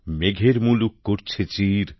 মেঘের মুলুক ধরছে চির